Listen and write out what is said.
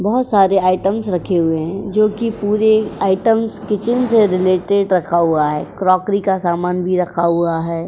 बोहोत सारे आइटम्स रखे हुए हैं जो कि पूरे आइटम्स किचन से रिलेटेड रखा हुआ है। क्रोकरी का सामान भी रखा हुआ है।